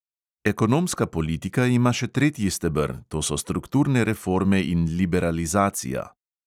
Ekonomska politika ima še tretji steber, to so strukturne reforme in liberalizacija.